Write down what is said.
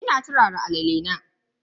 Ina turara alala na.